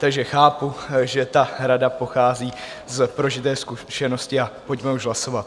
Takže chápu, že ta rada pochází z prožité zkušenosti, a pojďme už hlasovat.